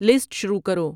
list شروع کرو